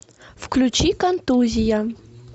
включи контузия